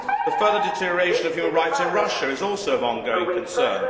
The further deterioration of human rights in Russia is also of ongoing concern.